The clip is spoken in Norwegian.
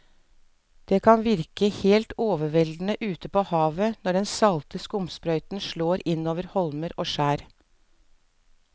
Det kan virke helt overveldende ute ved havet når den salte skumsprøyten slår innover holmer og skjær.